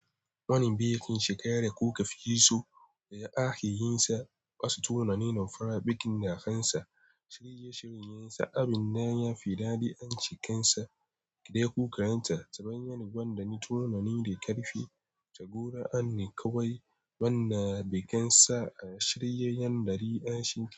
Wani bikin shekara kuka fi so da akeyinsa, wasu tunanin farar bikin da kansa, shirye-shiryen sa, abin da ya fi daɗi, anci kansa, kiɗa kuka ranta, ta hanyar gwandani, tunani da ƙarfi, tagora an yi kawai, wannan bikin sa a shirye yan dari a shi.